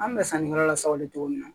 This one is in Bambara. An bɛ sanni kɛ yɔrɔ la sawale cogo min na